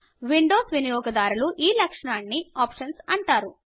Windows వినియోగదారులు ఈ లక్షణాన్ని ఆప్షన్స్ అంటారు